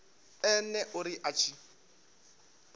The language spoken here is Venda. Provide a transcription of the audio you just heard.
ene o ri a tshi